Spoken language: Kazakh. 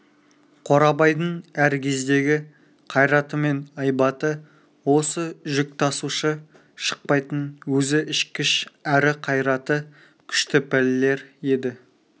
қорабайдың әр кездегі қайраты мен айбаты осы жүк тасушы шықпайтын өзі ішкіш әрі қайраты күшті пәлелер еді